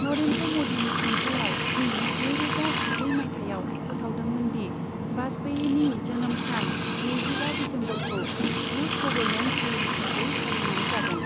नरेन्द्र मदीनि खुंथायाव इं नैरोजा जिब्रै मायथाइयाव फोसावदोंमोन दि वाजपेयीनि जोनोम सान, नैजिबा दिसेम्बरखौ गुद गबरनेन्स दे हिसाबै फालिनाय जागोन।